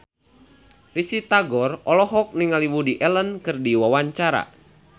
Risty Tagor olohok ningali Woody Allen keur diwawancara